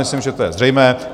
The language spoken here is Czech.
Myslím, že to je zřejmé.